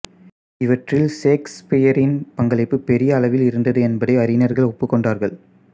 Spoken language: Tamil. இவற்றில் சேக்சுபியரின் பங்களிப்பு பெரிய அளவில் இருந்தது என்பதை அறிஞர்கள் ஒப்புக்கொண்டார்கள்